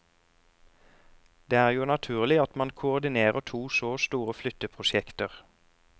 Det er jo naturlig at man koordinerer to så store flytteprosjekter.